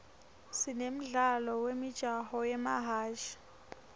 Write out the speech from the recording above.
sine mdlalo wemijaho yemahhashi